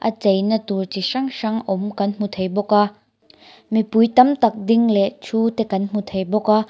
a chei na tur chi hrang hrang awm kan hmu thei bawk a mipui tam tak ding leh thu te kan hmu thei bawk a.